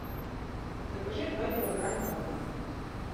закажи два килограмма банан